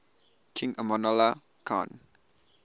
king amanullah khan